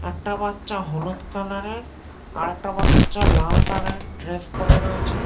একটা বাচ্চা হলুদ কালার -এর আরেকটা বাচ্চা লাল কালার -এর ড্রেস পড়ে রয়েছে--